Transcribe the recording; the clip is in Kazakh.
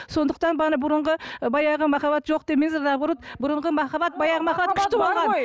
сондықтан бұрынғы баяғы махаббат жоқ демеңіздер наоборот бұрынғы махаббат баяғы махаббат күшті болған